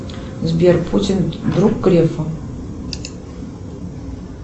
сбер путин друг грефа